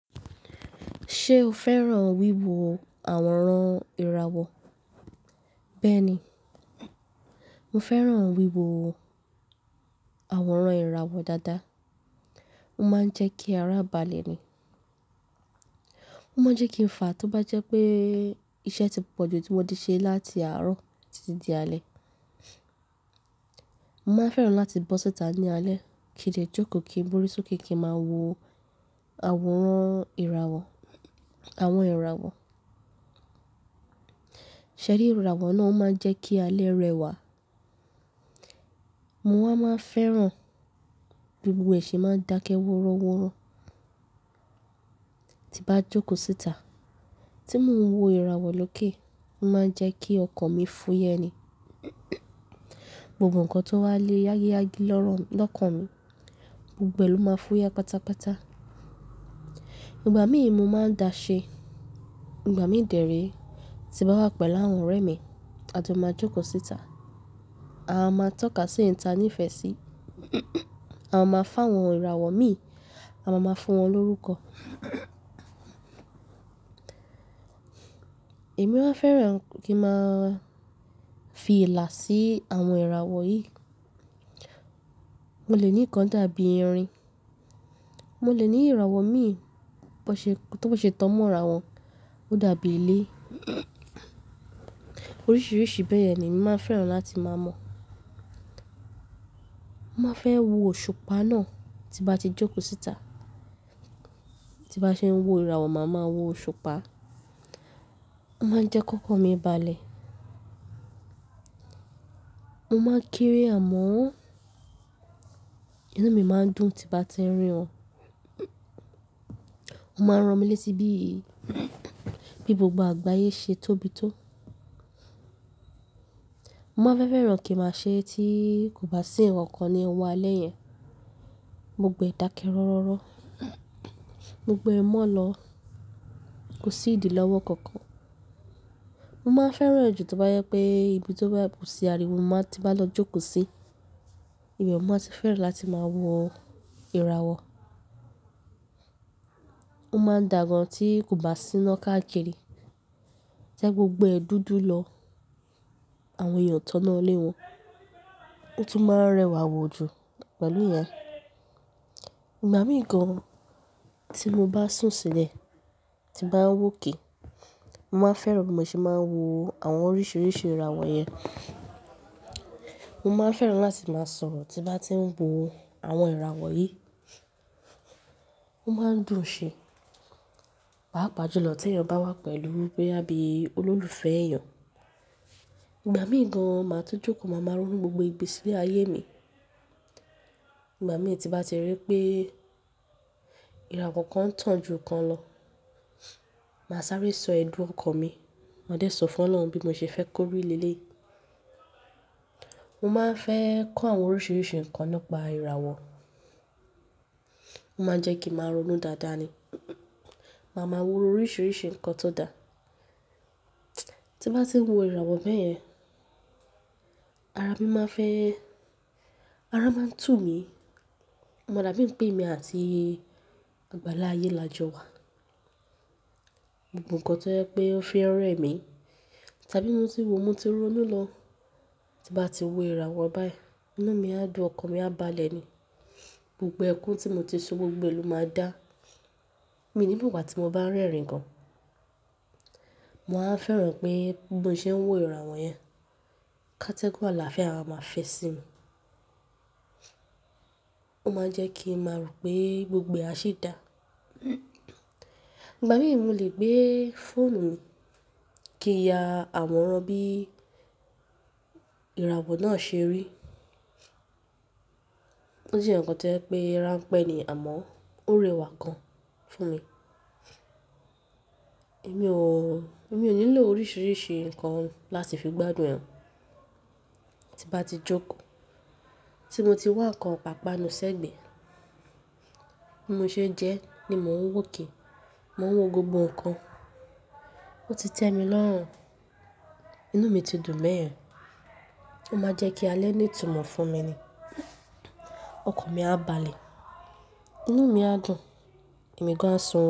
Ṣé o fẹ́ràn wíwo àwòrán ìràwọ̀? Bẹ́ẹ̀ ni, mo fẹ́ràn wíwo àwòrán ìràwọ̀ dáadáa. Ó máa ń jẹ́ kí ara bàlẹ̀ ni. Ó máa ń jẹ́ kí ń fà á tó bá jẹ́ pé iṣẹ́ tí pòjù tí mo ti ṣe láti àárọ̀ títí di alẹ́. Mo máa fẹ́ràn láti bọ́ síta ní alẹ́, kí n lè jókòó kí n gborí sókè kí n máa wo àwòrán ìràwọ̀, àwọn ìràwọ̀. Ṣẹ̀rí ìràwọ̀ náà ó máa ń jẹ́ kí alẹ́ rẹwà. Mowa máa n fẹ́ràn bí gbogbo ẹ̀ se máa ń dákẹ́ wọ́rọ́wọ́rọ́ tí bá jókòó síta. Tí mo ń wo ìràwọ̀ lóké, ó máa ń jẹ́ kí ọkàn mi fúyẹ́ ni. Gbogbo nǹkan tó wà le yágíyágí lọ́kàn mi, gbogbo ẹlò máa fúyẹ́ pátápátá. Ìgbà míì mo máa ń da ṣe. Ìgbà míì dèré. Ti bá wà pẹ̀lú àwọn ọ̀rẹ́ mi, a jo máa jókòó síta. A máa tọ́ka sí èyí ta ní ìfẹ́ sí. A máa fàwọn ìràwọ̀ mi, a máa máa fún wọn lórúkọ. Èmi máa fẹ́ràn kí n máa fi ìlà sí àwọn ìràwọ̀ yìí. Mo lè ní nǹkan dàbí erin. Mo lè ní ìràwọ̀ mi bo se, to se tan mo ra won, ó dàbí ilé. Oríṣiríṣi bẹ́ẹ̀ yen ni emi máa n fẹ́ràn láti máa mo. Mo máa fẹ́ wo òṣùpá náà tí bá ti jókòó síta. Tí bá ṣe ń wo ìràwọ̀, màá máa wo òṣùpá. Ó máa ń jẹ́ kókan mi balẹ̀. Mo máa ń kare àmọ́. Inú mi máa ń dùn tí bá ti n rìn wọ́n. Ó máa ń ran mi létí bí, bí gbogbo àgbáyé ṣe tóbi tó. Mo máa n fẹ́ fẹ́ràn kí máa ṣe é tí kò bá sí ǹkan kan ní ọwọ́ alẹ́ yẹn. Gbogbo ẹ dákẹ́ rọ́rọ́rọ́. Gbogbo ẹ mọ́ ọ lọ. Kò sí ìdí lọ́wọ́ kankan. Mo máa n fẹ́ràn ẹ̀ jù tó bá je pé ibi tó bá kò sí ariwo mo bá ti bá lọ jókòó sí. Ibẹ̀ mo máa ti fẹ́ràn láti máa wo ìràwọ̀. Ó máa n dà gan tí kò bá sí iná káàkiri. Tẹ́ gbogbo ẹ dúdú lọ, àwọn èèyàn tọ́nà ó lé wọn. Ó tún máa ń rẹwà wò jù pẹ̀lú ìyẹn. Ìgbà míì gan tí mo bá sùn sílẹ̀, tí bá ń wòkè, mo máa fẹ́ràn bí mo ṣe máa ń wo àwọn oríṣiríṣi ìràwọ̀ yẹn. Mo máa n fẹ́ràn láti máa sọ̀rọ̀ tí bá ti ń wo àwọn ìràwọ̀ yìí. Ó máa ń dùn ṣe, pàápàá jùlọ tí ẹ̀yàn bá wà pẹ̀lú boya bíi olólùfẹ́ ẹ̀yẹn. Ìgbà míì gan màá tun jókòó, màá máa ronú gbogbo ìgbésí ayé mi. Ìgbà míì tí bá ti rí pé ìràwọ̀ kan ń tàn ju kan lọ, màá sáré sọ ẹ̀dùn ọkàn mi. Màá dé sọ fún Ọlọ́run bí mo ṣe fẹ́ kó rí lélẹ̀. Mo máa ń fẹ́ kọ́ àwọn oríṣiríṣi ǹkan ni pa ìràwọ̀. Ó máa ń jẹ́ kí n máa ronú dáadáa ni. Màá máa ro oríṣiríṣi ǹkan tó dà. Tí bá ti ń wo ìràwọ̀ bẹ́ẹ̀ yẹn, ara mi máa n fẹ́, ara máa ń tumí. O ma dàbí ń pè emí àti àgbàlá ayé lajọ wà. Gbogbo ǹkan tó je pé ó fi n rẹ̀ mì, tàbí mo ti wo, mo ti ronú lọ. Tí bá ti wo ìràwọ̀ báyìí, inú mi á dùn, ọkàn mi á balẹ̀ ni. Gbogbo ẹkún tí mo ti sùn gbogbo ẹlò máa dá. Mí o ni mo gba tí mo bá ń rẹ́rìn-ín gan, mo wa fẹ́ràn pé bí mo ṣe ń wo ìràwọ̀ yẹn, ká tẹ́gùn àlàáfíà máa fi sí mi. Ó máa ń jẹ́ kí n máa rò pé gbogbo ẹ asi dà. Ìgbà míì mo lè gbé fóònù mi kí n ya àwòrán bí ìràwọ̀ náà ṣe rí. Ó je nkankan tí o je n pé ránpẹ́ ni àmọ́ ó rẹwà gan fún mi. Mi ò, èmi ò nílò oríṣiríṣi ǹkan láti fi gbádùn ẹ. Tí bá ti jókòó, tí mo ti wá ǹkan ipàpá nu sẹ́gbẹ̀ẹ́, bí mo ṣe n jẹ́ ni mò ń wòkè. Mo ń wo gbogbo ǹkan. Ó ti tẹ́mi lọ́rùn. Inú mi ti dùn beyẹn. Ó máa n jẹ́ kí alẹ́ ní ìtumọ̀ fún mi ni. Ọkàn mi á balẹ̀. Inú mi á dùn. Èmi gán a sun oorun.